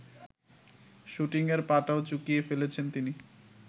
শুটিংয়ের পাটও চুকিয়ে ফেলেছেন তিনি